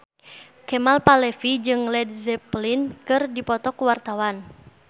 Kemal Palevi jeung Led Zeppelin keur dipoto ku wartawan